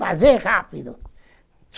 Fazer rápido.